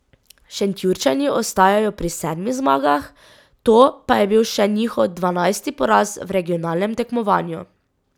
Šentjurčani ostajajo pri sedmih zmagah, to pa je bil še njihov dvanajsti poraz v regionalnem tekmovanju.